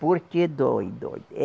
Porque dói, dói